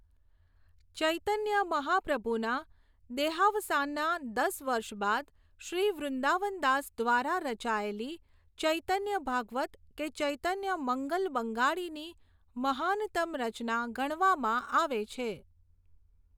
ચૈતન્ય મહાપ્રભુના દેહાવસાનના દસ વર્ષબાદ શ્રી વૃન્દાવનદાસ દ્વારા રચાયેલી ચૈતન્ય ભાગવત કે ચૈતન્ય મંગલ બંગાળીની મહાનતમ રચના ગણાવામાં આવે છે.